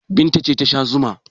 Binta ce ta sha zuma.